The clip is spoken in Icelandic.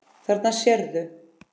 Þarna sérðu.